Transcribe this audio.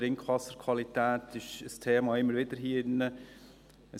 Die Trinkwasserqualität ist hier in diesem Saal immer wieder ein Thema.